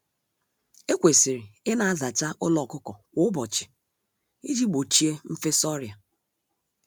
Ekwesịrị ịna-azacha ụlọ ọkụkọ kwa ụbọchị iji gbochie mfesa ọrịa.